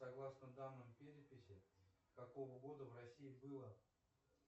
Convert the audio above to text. согласно данным переписи какого года в россии было